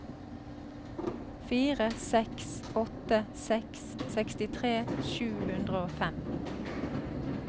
fire seks åtte seks sekstitre sju hundre og fem